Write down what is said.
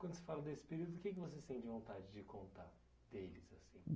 Quando você fala desse período, o que que você sente vontade de contar deles assim?